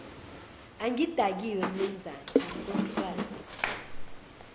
angidakiwe mnumzane ngunkosikazi